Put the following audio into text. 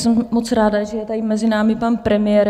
Jsem moc ráda, že je tady mezi námi pan premiér.